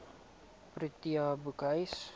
protea boekhuis